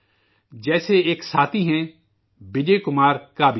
جیسے ایک ساتھی ہیں وجے کمار کا بی جی